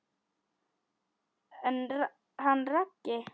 En hann Raggi?